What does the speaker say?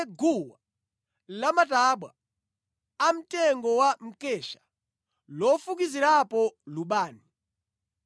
Upange guwa lamatabwa amtengo wa mkesha lofukizirapo lubani.